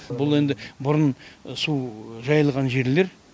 бұл енді бұрын су жайылған жерлер